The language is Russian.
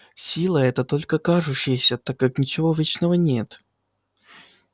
сила эта только кажущаяся так как ничего вечного нет